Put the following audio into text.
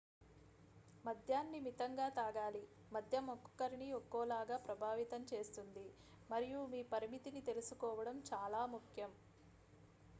మద్యాన్ని మితంగా తాగాలి మద్యం ఒక్కొక్కరిని ఒక్కోలాగా ప్రభావితం చేస్తుంది మరియు మీ పరిమితిని తెలుసుకోవడం చాలా ముఖ్యం